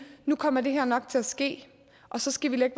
nu kommer det her nok til at ske og så skal vi